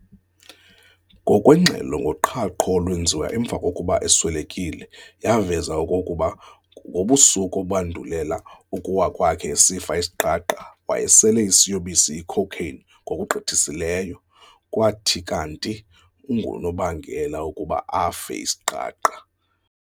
Ngokwengxelo ngoqhaqho olwenziwa emva kokuba eswelekile yaveza okokuba ngobusuku obandulela ukuwa kwakhe esifa isiqaqa wayesele isiyobisi icocaine ngokugqithisileyo, kwathi kanti ngunobangela wokokuba afe isiqaqa.